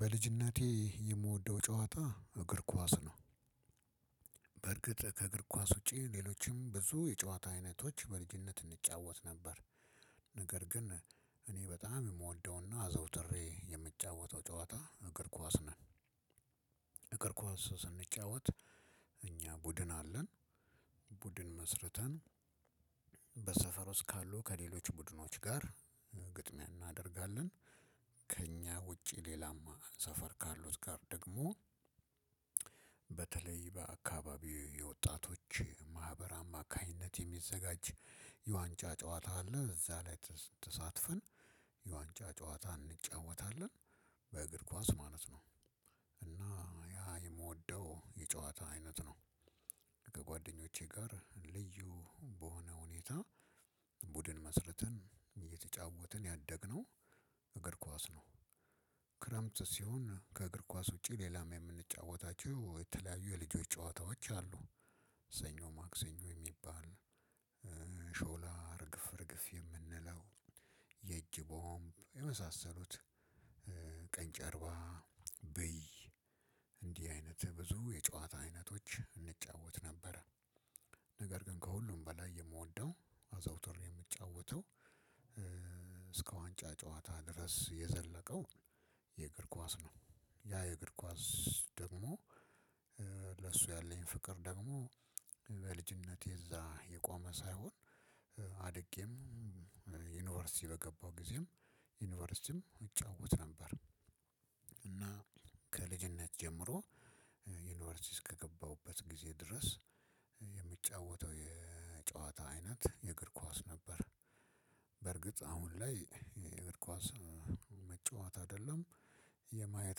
በልጅነቴ የምወደው ጨዋታ እግር ኳስ ነው። በርግጥ ከእግር ኳስ ውጪ ሌሎችም ብዙ የጨዋታ አይነቶች በልጅነት እንጫወት ነበር። ነገር ግን እኔ በጣም የምወደውና አዘውትሬ የምጫወተው ጨዋታ እግር ኳስ ነው። እግር ኳስ ስንጫወት እኛ ቡድን አለን። ቡድን መስርተን በሰፈር ውስጥ ካሉ ከሌሎች ቡድኖች ጋር ግጥሚያ እናደርጋለን። ከእኛ ውጪ ሌላም ሰፈር ካሉት ጋር ደግሞ በተለይ በአካባቢ የወጣቶች መሃበር አማካኝነት የሚዘጋጅ የዋንጫ ጨዋታ አለ። እዛ ላይ ተሳትፈን የዋንጫ ጨዋታ እንጫወታለን በእግር ኳስ ማለት ነው። እና ያ የምወደው የጨዋታ አይነት ነው። ከጓደኞቼ ጋር ልዩ በሆነ ሁኔታ ቡድን መስርትን እየተጫወትን ያደግነው እግር ኳስ ነው። ክረምት ሲሆን ከእግር ኳስ ውጪ ሌላም የምንጫወታቸው የተለያዩ የልጆች ጨዋታዎች አሉ። ሰኞ ማክሰኞ የሚባል ሾላ እርግፍ እርግፍ የምንለው የእጅ ቦምብ የመሳሰሉትን ቀኝ ጨርባ ብይ እንዲህ አይነት ብዙ የጨዋታ አይነቶች እንጫወት ነበረ። ነገር ግን ከሁሉም በላይ የምወደው አዛውትሬ የምጫወተው እስከ ዋንጫ ጨዋታ ድረስ የዘለቀው የእግር ኳስ ነው። ያ የእግር ኳስ ደግሞ ለሱ ያለኝ ፍቅር ደግሞ በልጅነቴ እዛ የቆመ ሳይሆን አድጌም ዩኒቨርሲቲ በገባው ጊዜም ዩኒቨርሲቲም እጫወት ነበር። እና ከልጅነት ጀምሮ ዩኒቨርሲቲ እስከገባሁበት ጊዜ ድረስ የምጫወተው የጨዋታ አይነት የእግር ኳስ ነበር። በርግጥ አሁን ላይ የእግር ኳስ መጫወት አይደለም የማየት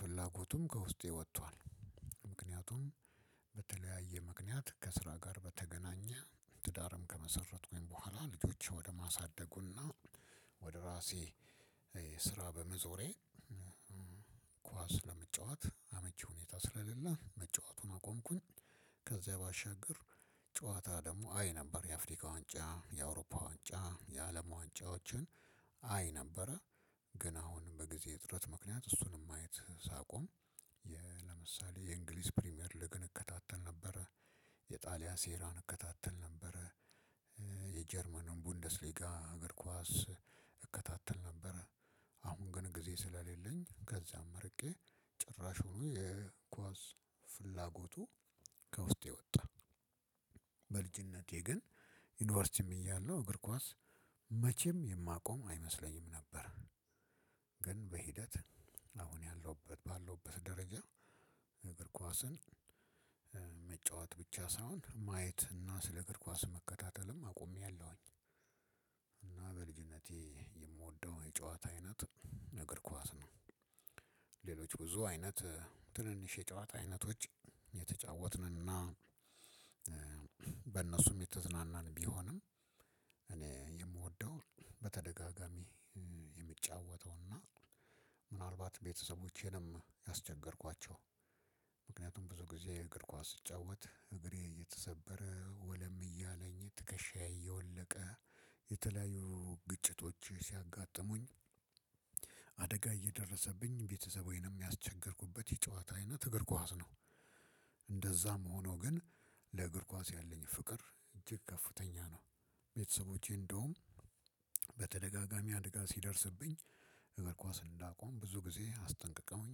ፍላጎቱም ከውስጤ ወጥቷል። ምክንያቱም በተለያየ ምክንያት ከስራ ጋር በተገናኘ ትዳርም ከመሰረትኩኝ በኋላ ልጆች ወደ ማሳደጉና ወደ ራሴ ስራ በመዞሬ ኳስ ለመጫወት አመቺ ሁኔታ ስለሌለ መጫወቱን አቆምኩኝ። ከዛ ባሻገር ጨዋታ ደግሞ አይ ነበር የአፍሪካ ዋንጫ የአውሮፓ ዋንጫ የአለም ዋንጫዎችን አይ ነበረ ግን አሁን በጊዜ እጥረት ምክንያት እሱንም ማየት ሳቆም። ለምሳሌ የእንግሊዝ ፕሪሚየር ሊግን እከታተል ነበረ። የጣሊያን ሴራን እከታተል ነበር። የጀርመንን ቡንደስ ሊጋ አገር ኳስ እከታተል ነበር። ግን ጊዜ ስለሌለኝ ከዚያም እርቄ ጭራሽ ሆኖ የኳስ ፍላጎቱ ከውስጤ ወጣ። በልጅነቴ ግን ዩኒቨርሲቲም እያለው እግር ኳስ መቼም የማቆም አይመስለኝም ነበረ። ግን በሂደት አሁን ያለሁበት ባለውበት ደረጃ እግር ኳስን መጫወት ብቻ ሳይሆን ማየት እና ስለ እግር ኳስ መከታተልም አቆሚያለሁኝ። እና በልጅነቴ የምወደው የጨዋታ አይነት እግር ኳስ ነው። ሌሎች ብዙ አይነት ትንንሽ የጨዋታ አይነቶች እየተጫወትንና በእነሱም የተዝናናን ቢሆንም እኔ የምወደው በተደጋጋሚ የምጫወተውና ምናልባት ቤተሰቦቼንም ያስቸገርኳቸው። ምክንያቱም ብዙ ጊዜ የእግር ኳስ ስጫወት እግሬ እየተሰበረ ወለም እያለኝ ትከሻዬ እየወለቀ የተለያዩ ግጭቶች ሲያጋጥሙኝ እየደረሰብኝ ቤተሰቤንም ያስቸገርኩበት የጨዋታ አይነት እግር ኳስ ነው። እንደዛም ሆኖ ግን ለእግር ኳስ ያለኝ ፍቅር እጅግ ከፍተኛ ነው። ቤተሰቦቼ እንደውም በተደጋጋሚ አደጋ ሲደርስብኝ እግር ኳስን እንዳቆም ብዙ ጊዜ አስጠንቅቀውኝ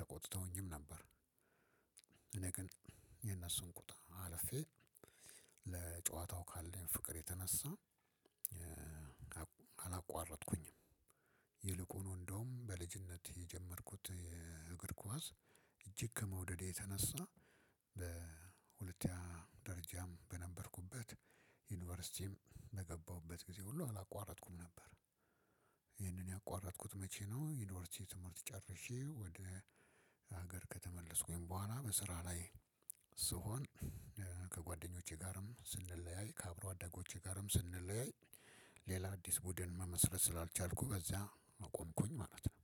ተቆጥተውኝም ነበር። እኔ ግን የነሱን ቁጣ አለፌ ለጨዋታው ካለኝ ፍቅር የተነሳ አላቋረጥኩኝም። ይልቁኑ እንደውም በልጅነት የጀመርኩት የእግር ኳስ እጅግ ከመውደዴ የተነሳ በሁለተኛ ደረጃም በነበርኩበት ዩኒቨርሲቲም በገባሁበት ጊዜ ሁሉ አላቋረጥኩም ነበር። ይሄንን ያቋረጥኩት መቼ ነው? ዩኒቨርሲቲ ትምህርት ጨርሼ ወደ ሀገር ከተመለስኩኝ በኋላ በስራ ላይ ስሆን ከጓደኞቼ ጋርም ስንለያይ ከአብሮ አደጎቼ ጋርም ስንለያይ ሌላ አዲስ ቡድን መመስረት ስላልቻልኩ ከዚያ አቆምኩኝ ማለት ነው።